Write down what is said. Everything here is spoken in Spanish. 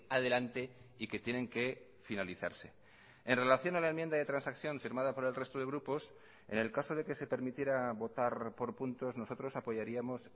adelante y que tienen que finalizarse en relación a la enmienda de transacción firmada por el resto de grupos en el caso de que se permitiera votar por puntos nosotros apoyaríamos